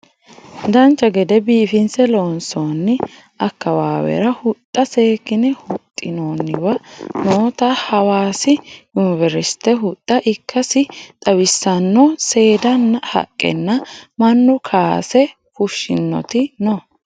Dancha gede biifinse loonsoonni akkawaawera huxxa seekkine huxxinoonniwa noota hawaasi yuniveristte huxxa ikkasi xawissanno seeddanna haqqe mannu kaase fushshinoti no